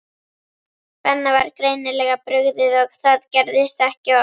Benna var greinilega brugðið og það gerðist ekki oft.